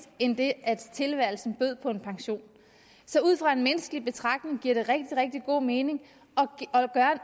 end det at tilværelsen bød på en pension så ud fra en menneskelig betragtning giver det rigtig rigtig god mening